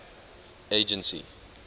agency